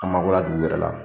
A mabɔra dugu wɛrɛ la